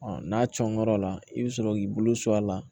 n'a cɔɔrɔ la i bɛ sɔrɔ k'i bolo sɔn a la